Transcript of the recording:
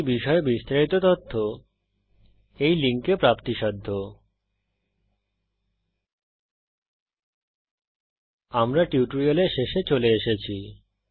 এই বিষয়ে বিস্তারিত তথ্য এই লিঙ্কে প্রাপ্তিসাধ্য httpspoken tutorialorgNMEICT Intro আমরা টিউটোরিয়ালের শেষে চলে এসেছি